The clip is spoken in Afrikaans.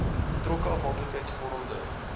betrokke afhanklikheids vormende